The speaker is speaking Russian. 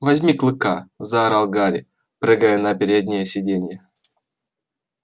возьми клыка заорал гарри прыгая на переднее сиденье